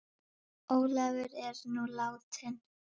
Ólafur er nú látinn.